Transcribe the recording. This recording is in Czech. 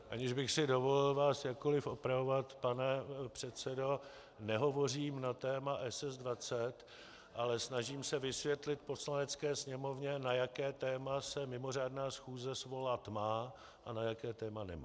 Aniž bych si dovolil vás jakkoliv opravovat, pane předsedo, nehovořím na téma SS-20, ale snažím se vysvětlit Poslanecké sněmovně, na jaké téma se mimořádná schůze svolat má a na jaké téma nemá.